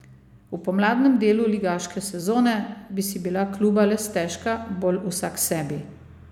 V pomladnem delu ligaške sezone bi si bila kluba le stežka bolj vsaksebi.